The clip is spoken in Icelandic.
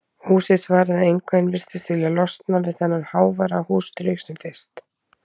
Húsið svaraði engu en virtist vilja losna við þennan háværa húsdraug sem fyrst.